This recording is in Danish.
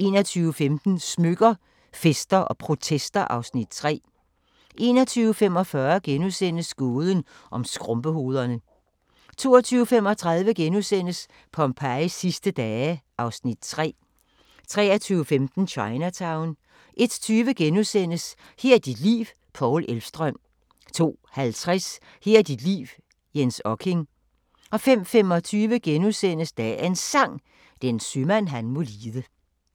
21:15: Smykker – Fester & protester (Afs. 3) 21:45: Gåden om skrumpehovederne * 22:35: Pompejis sidste dage (Afs. 3)* 23:15: Chinatown 01:20: Her er dit liv – Paul Elvstrøm * 02:50: Her er dit liv – Jens Okking 05:25: Dagens Sang: Den sømand han må lide *